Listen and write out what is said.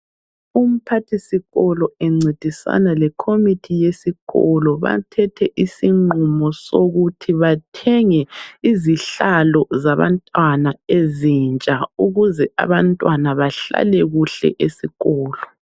Umphathisikolo encedisana lekhomithi yesikolo bathethe isinqumo sokuthi bathenge izihlalo zabantwana ezintsha ukuze abantwana bahlale kuhle esikolo.